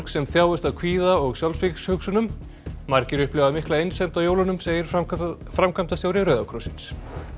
sem þjáist af kvíða og sjálfsvígshugsunum margir upplifa mikla einsemd á jólunum segir framkvæmdastjóri framkvæmdastjóri Rauða krossins